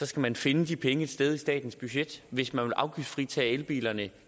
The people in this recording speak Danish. skal man finde de penge et sted i statens budget hvis man vil afgiftsfritage elbilerne